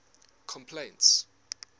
complaints